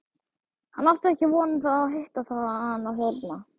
Hann átti ekki von á að hitta hana þarna.